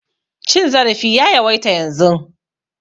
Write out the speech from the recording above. Cin zarafi ya yawaita yanzun.